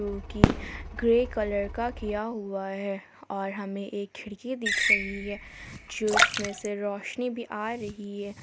Grey colour का किया हुआ है। और हमें एक खिड़की दिख रही है जो इसमे से रोशनी भी आ रही है।